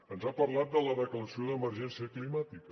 ens ha parlat de la declaració d’emergència climàtica